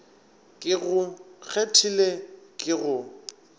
ke go kgethile ke go